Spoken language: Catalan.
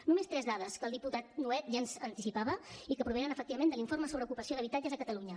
només tres dades que el diputat nuet ja ens anticipava i que provenen efectivament de l’informe sobre ocupació d’habitatges a catalunya